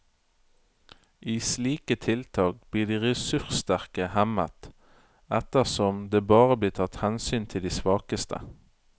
I slike tiltak blir de ressurssterke hemmet, ettersom det bare blir tatt hensyn til de svakeste.